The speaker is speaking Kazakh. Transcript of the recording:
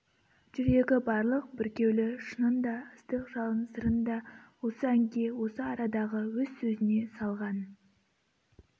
жүрегі барлық бүркеулі шынын да ыстық жалын сырын да осы әнге осы арадағы өз сөзіне салған